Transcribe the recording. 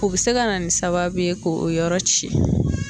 O be se ka na ni sababu ye ko o yɔrɔ ciyɛn